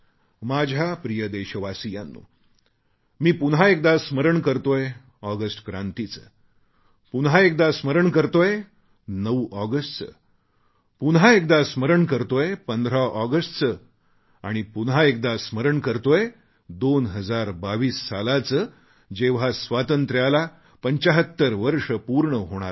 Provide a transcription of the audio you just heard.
माझ्या प्रिय देशवासियांनो मी पुन्हा एकदा स्मरण करतोय ऑगस्ट क्रांतीचे पुन्हा एकदा स्मरण करतोय 9 ऑगस्टचे पुन्हा एकदा स्मरण करतोय 15 ऑगस्टचे आणि पुन्हा एकदा स्मरण करतोय 2022 सालाचे जेव्हा स्वातंत्र्याला 75 वर्ष पूर्ण होणार आहेत